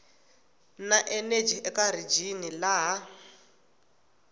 na eneji eka rijini laha